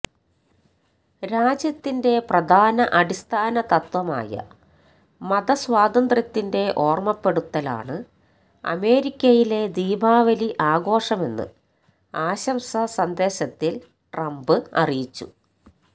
രാജ്യത്തിന്റെ പ്രധാന അടിസ്ഥാന തത്വമായ മതസ്വാതന്ത്ര്യത്തിന്റെ ഓര്മ്മപ്പെടുത്തലാണ് അമേരിക്കയിലെ ദീപാവലി ആഘോഷമെന്ന് ആശംസാ സന്ദേശത്തില് ട്രംപ് അറിയിച്ചു